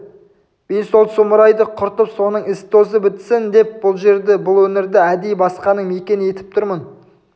мен сол сұмырайды құртып сонын із-тозы бітсін деп бұл жерді бұл өңірді әдейі басқаның мекені етіп тұрмын